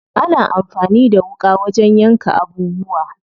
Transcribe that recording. Ana amfani da wuƙa wajen yanka abubuwa.